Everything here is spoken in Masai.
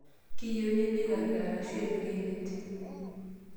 Keyieunoi neikari arashu epiki enet.